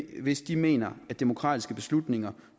hvis de mener at demokratiske beslutninger